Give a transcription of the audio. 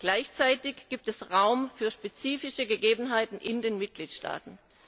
Gleichzeitig gibt es Raum für spezifische Gegebenheiten in den Mitgliedstaaten.